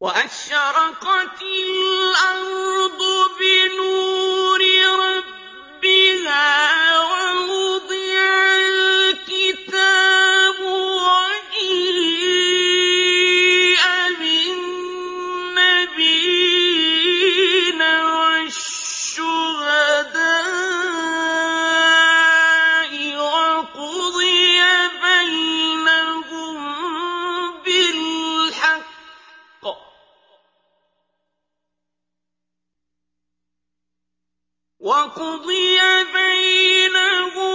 وَأَشْرَقَتِ الْأَرْضُ بِنُورِ رَبِّهَا وَوُضِعَ الْكِتَابُ وَجِيءَ بِالنَّبِيِّينَ وَالشُّهَدَاءِ وَقُضِيَ بَيْنَهُم